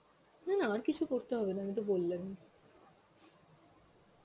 না না আর কিছু করতে হবে না আমি তো বললামই.